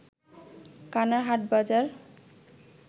কানার হাটবাজার